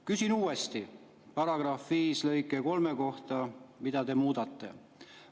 Küsin uuesti § 5 lõike 3 kohta, mida te muudate.